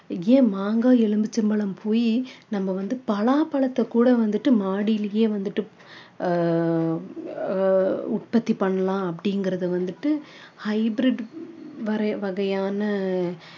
ஏன் மாங்காய் எலுமிச்சபழம் போய் நம்ம வந்து பலா பழத்தை கூட வந்துட்டு மாடியிலயே வந்துட்டு ஆஹ் உற்பத்தி பண்ணலாம் அப்படிங்கிறது வந்துட்டு hybrid வறை~ வகையான